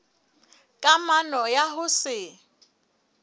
ka kamano ya ho se